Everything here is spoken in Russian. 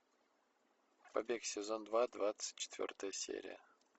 побег сезон два двадцать четвертая серия